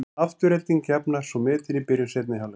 Afturelding jafnar svo metin í byrjun seinni hálfleiks.